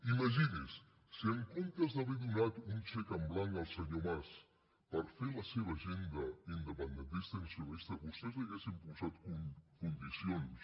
imagini s’ho si en comptes d’haver donat un xec en blanc al senyor mas per fer la seva agenda independentista i nacionalista vostès li haguessin posat condicions